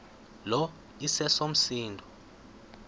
lo iseso msindo